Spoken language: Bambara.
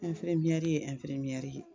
ye ye